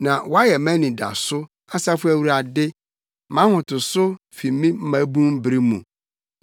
Na woayɛ mʼanidaso, Asafo Awurade, mʼahotoso fi me mmabun bere mu.